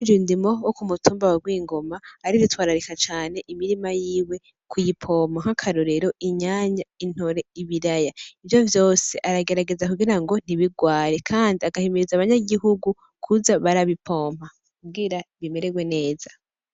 Iryundimo wo ku mutumba wegwingoma ari twararika cane imirima yiwe ku'yipompa nk'akarorero inyanya intore ibiraya ivyo vyose aragerageza kugira ngo ntibirware, kandi agahimiriza abanyagihugu kuza barabipompa kugira bimererwe neza.